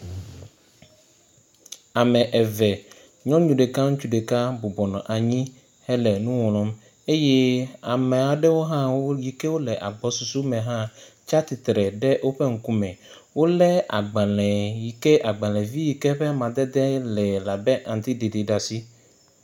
Ame eve. Nyɔnu ɖeka ŋutsu ɖeka bɔbɔnɔ anyi hele nu ŋlɔm eye ame aɖewo hã yi ke le agbɔsɔsɔ me hã tsi atsitre ɖe woƒe ŋkume. Wole agbale yi ke agbalevi yi ke ƒe amadede le abe aŋtsiɖiɖi ɖe asi.